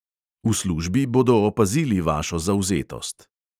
V službi bodo opazili vašo zavzetost.